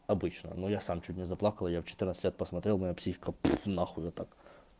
обычно но я сам чуть не заплакал я в четырнадцать лет посмотрел моя психика пфф на хуй вот так